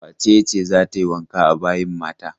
Wace ce za ta yi wanka a bayin mata?